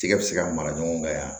Tigɛ bi se ka mara ɲɔgɔn kan yan